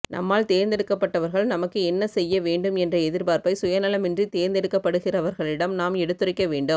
நம்மால் தேர்ந்த்டுக்கப்பட்டவர்கள் நமக்கு என்ன செய்ய வேண்டும் என்ற எதிர்பார்ப்பை சுய நலமின்றி தேர்ந்தெடுக்கப்படுகிறவர்களிடம் நாம் எடுத்துரைக்க வேண்டும்